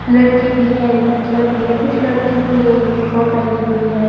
लड़के भी हैं लड़कियां भी हैं कुछ लड़कियों ने यूनिफॉर्म पहनी हुई हैं।